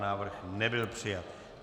Návrh nebyl přijat.